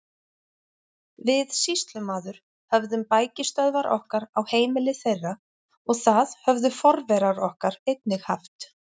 Við sýslumaður höfðum bækistöðvar okkar á heimili þeirra og það höfðu forverar okkar einnig haft.